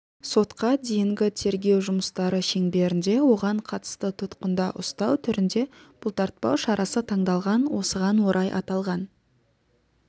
сотқа дейінгі тергеу жұмыстары шеңберінде оған қатысты тұтқында ұстау түрінде бұлтартпау шарасы таңдалған осыған орай аталған